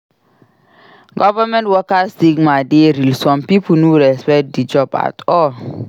Government worker stigma dey real; some pipo no respect di job at all.